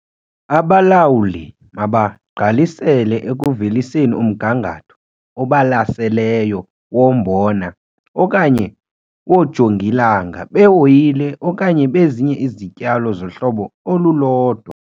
Abalawuli mabagqalisele ekuveliseni umgangatho obalaseleyo wombona okanye woojongilanga be-oyile okanye bezinye izityalo zohlobo olulodwa.